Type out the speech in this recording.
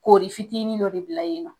Koori fitini dɔ de bila yen nɔ .